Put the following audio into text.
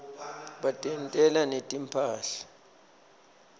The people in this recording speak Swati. batentela netimphahla